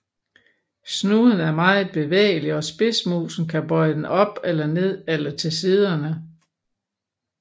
Snuden er meget bevægelig og spidsmusen kan bøje den op eller ned eller til siderne